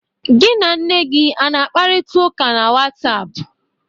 Gị na nne gị ana-akparịta ụka na WhatsApp?